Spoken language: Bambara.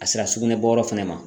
A sera sugunɛ bɔyɔrɔ fɛnɛ ma.